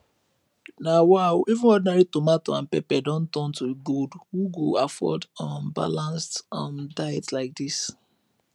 na wa o even ordinary tomato and pepper don turn to gold who go afford um balanced um diet like this